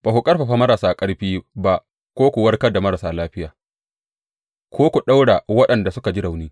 Ba ku ƙarfafa marasa ƙarfi ba, ko ku warkar da marasa lafiya ko ku ɗaura waɗanda suka ji rauni.